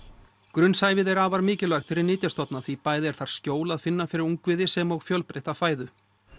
grunnsævið er afar mikilvægt fyrir nytjastofna því bæði er þar skjól að finna fyrir ungviðið sem og fjölbreytta fæðu